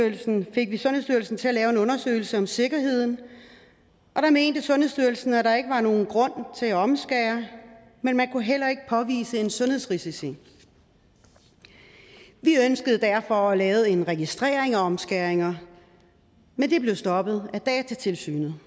fik vi sundhedsstyrelsen til at lave en undersøgelse om sikkerheden og der mente sundhedsstyrelsen at der ikke var nogen grund til at omskære men man kunne heller ikke påvise nogen sundhedsrisici vi ønskede derfor at lave en registrering af omskæringer men det blev stoppet af datatilsynet